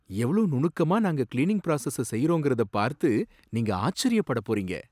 எவ்ளோ நுணுக்கமா நாங்க கிளீனிங் பிராசஸ செய்றோங்கிறத பார்த்து நீங்க ஆச்சரியப்படப் போறீங்க.